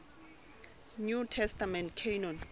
new testament canon